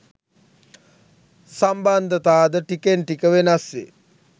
සම්බන්ධතා ද ටිකෙන් ටික වෙනස් වේ